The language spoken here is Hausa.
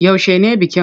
Yaushe ne bikin?